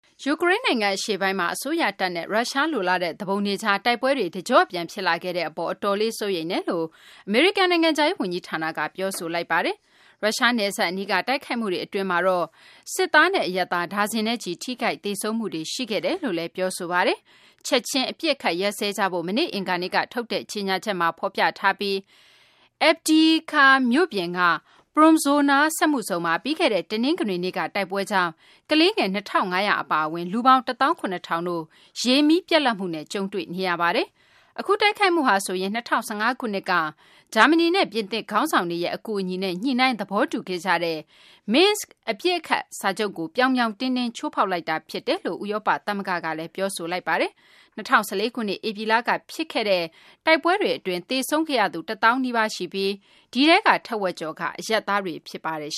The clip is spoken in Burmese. ယူကရိန်း နိုင်ငံ အရှေ့ပိုင်းမှာ အစိုးရတပ်နဲ့ ရုရှား လိုလားတဲ့ သူပုန်တွေကြား တိုက်ပွဲတွေ တကျော့ပြန် ဖြစ်လာခဲ့တဲ့ အပေါ် အတော်လေး စိုးရိမ်တယ်လို့ အမေရိကန် နိုင်ငံခြားရေး ဝန်ကြီးဌာနက ပြောဆိုလိုက်ပါတယ်။ ရုရှား နယ်စပ် အနီးက တိုက်ခိုက်မှု အတွင်းမှာတော့ စစ်သားနဲ့ အရပ်သား ဒါဇင်နဲ့ချီပြီး ထိခိုက်သေဆုံးမှုတွေ ရှိခဲ့တယ်လို့လည်း ပြောဆိုလိုက်တာပါ။ ချက်ခြင်း အပစ်အခတ် ရပ်စဲကြဖို့ မနေ့ အင်္ဂါနေ့က ထုတ်တဲ့ ကြေညာချက် မှာ ဖော်ပြထားပြီး Avdiivka မြို့ပြင်က Promzona စက်မှုဇုန်မှာ ပြီးခဲ့တဲ့ တနင်္ဂနွေနေ့က တိုက်ပွဲကြောင့် ကလေးငယ် ၂၅၀၀ အပါအဝင် လူပေါင်း ၁ သောင်း ၇ ထောင်တို့ ရေ၊ လျှပ်စစ်မီး ပြတ်လက်မှုနဲ့ ကြုံတွေ့နေရပါတယ်။ အခု တိုက်ခိုက်မှုဟာဆိုရင် ၂၀၁၅ ခုနှစ်က ဂျာမနီနဲ့ ပြင်သစ် ခေါင်းဆောင်တွေရဲ့ အကူအညီနဲ့ ညှိနှိုင်း သဘောတူခဲ့ကြတဲ့ Minsk အပစ်ရပ် စာချုပ်ကို ပြောင်ပြောင်တင်းတင်း ချိုးဖောက်လိုက်တာ ဖြစ်တယ်လို့ ဥရောပ သမဂ္ဂကလည်း ပြောဆိုလိုက်ပါတယ်။ ၂၀၁၄ ခုနှစ် ဧပြီလက ဖြစ်ခဲ့တဲ့ တိုက်ပွဲတွေ အတွင်း သေဆုံးခဲ့ရသူ ၁ သောင်းနီးပါး ရှိခဲ့ပြီး ဒီထဲက တဝက်ကျော်က အရပ်သားတွေ ဖြစ်ပါတယ်။